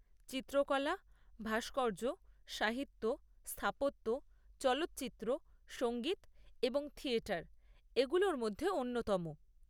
চিত্রকলা, ভাস্কর্য, সাহিত্য, স্থাপত্য, চলচ্চিত্র, সঙ্গীত এবং থিয়েটার এগুলোর মধ্যে অন্যতম।